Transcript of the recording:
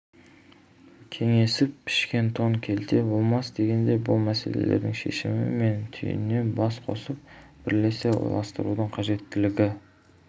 кеңесіп пішкен тон келте болмас дегендей бұл мәселелердің шешімі мен түйінін бас қосып бірлесе ойластырудың қажеттілігі